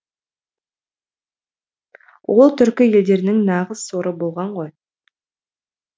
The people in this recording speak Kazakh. ол түркі елдерінің нағыз соры болған ғой